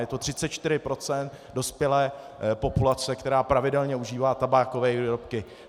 Je to 34 % dospělé populace, která pravidelně užívá tabákové výrobky.